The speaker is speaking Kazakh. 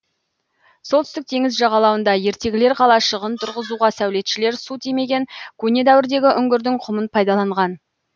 солтүстік теңіз жағалауында ертегілер қалашығын тұрғызуға сәулетшілер су тимеген көне дәуірдегі үңгірдің құмын пайдаланған